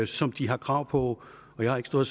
som de har krav på og jeg har ikke stået